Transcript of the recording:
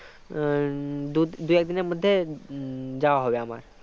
উম দু~ দুই একদিনের মধ্যে উম যাওয়া হবে আমার